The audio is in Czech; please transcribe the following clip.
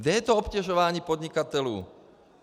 Kde je to obtěžování podnikatelů?